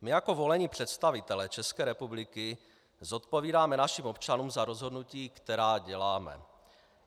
My jako volení představitelé České republiky zodpovídáme našim občanům za rozhodnutí, která děláme.